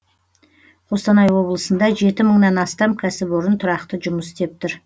қостанай облысында жеті мыңнан астам кәсіпорын тұрақты жұмыс істеп тұр